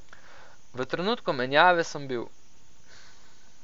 V trenutku menjave sem bil ...